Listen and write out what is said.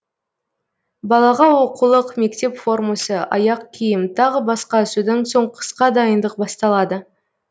балаға оқулық мектеп формасы аяқ киім тағы басқа содан соң қысқа дайындық басталады